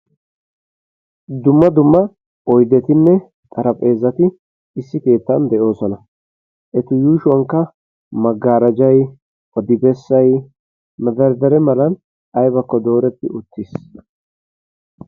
Dumma dumma oyidetinne xarapheezzati issi keettan de'oosona. Eta yuushuwankka Magarejay, odibessay, madarddare malan ayibakko dooretti uttis.